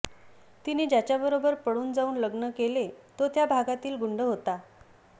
तिने ज्याच्या बरोबर पळून जाऊन लग्न केले तो त्या भागातील गुंड होता